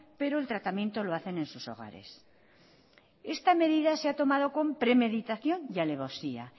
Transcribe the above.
pero el tratamiento lo hacen en sus hogares esta medida se ha tomado con premeditación y alevosía